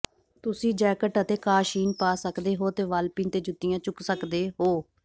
ਤੁਸੀਂ ਜੈਕਟ ਅਤੇ ਕਾਸ਼ੀਨ ਪਾ ਸਕਦੇ ਹੋ ਅਤੇ ਵਾਲਪਿਨ ਤੇ ਜੁੱਤੀਆਂ ਚੁੱਕ ਸਕਦੇ ਹੋ